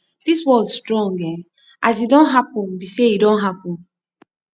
this world strong eeh as e don happen be say e don happen